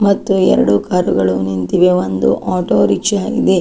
ಮತ್ತು ಎರಡು ಕಾರು ಗಳು ನಿಂತಿವೆ ಮತ್ತು ಆಟೋ ರಿಕ್ಷಾ ಇದೆ.